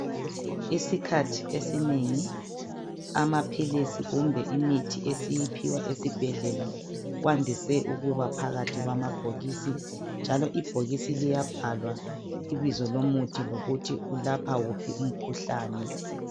Isikhathi esinengi amaphilisi kumbe imithi esiyiphiwa esibhedlela kwandise ukuba phakathi kwamabhokisi njalo ibhokisi liyabhalwa ibizo lomuthi lokuthi ulapha wuphi umkhuhlane.